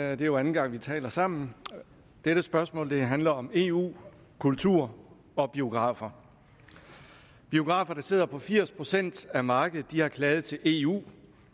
er jo anden gang vi taler sammen dette spørgsmål handler om eu kultur og biografer biografer der sidder på firs procent af markedet har klaget til eu